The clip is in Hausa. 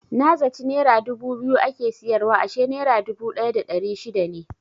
Na zaci nera dubu biyu ake siyarwa ashe nera dubu ɗaya da ɗari shida ne.